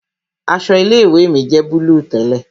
Aṣọ ilé ìwé mi jẹ́ búlúù tẹ́lẹ̀